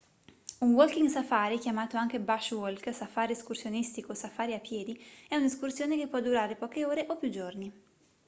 un walking safari chiamato anche bush walk safari escursionistico o safari a piedi è un'escursione che può durare poche ore o più giorni